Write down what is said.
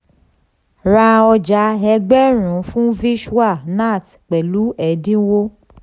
ra ọja ẹgbẹ̀rún fún vishwa nath pẹ̀lú ẹ̀dínwó.